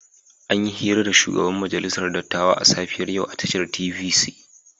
An yi hira da shugaban majalisar dattawa a safiyar yau a tashar TVC.